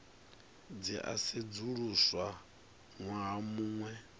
dzi a sedzuluswa ṅwaha muṅwe